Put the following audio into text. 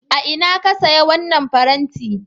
A ina ka saya wannan farenti?